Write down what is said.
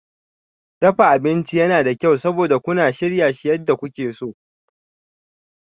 Dafa abinci yana da kyau, saboda kuna shirya su yadda kuke so.